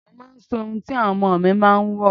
Mo máa ń sọ ohun tí àwọn ọmọ mi máa ń wò.